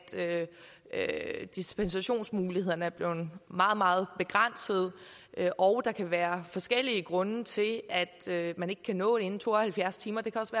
at dispensationsmulighederne er blevet meget meget begrænsede og der kan være forskellige grunde til at man ikke kan nå det inden to og halvfjerds timer det kan også